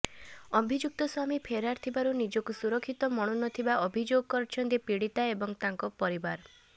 ଅଭିଯୁକ୍ତ ସ୍ୱାମୀ ଫେରାର ଥିବାରୁ ନିଜକୁ ସୁରକ୍ଷିତ ମଣୁନଥିବା ଅଭିଯୋଗ କରିଛନ୍ତି ପୀଡ଼ିତା ଓ ତାଙ୍କ ପରିବାର